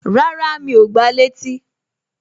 Rárá, Mi ò gba létí